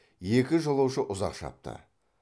екі жолаушы ұзақ шапты